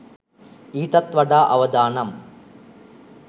ඊටත් වඩා අවදානම්.